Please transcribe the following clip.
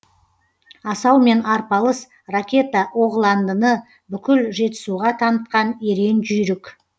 асаумен арпалыс ракета оғландыны бүкіл жетісуға танытқан ерен жүйрік